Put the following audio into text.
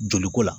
Joli ko la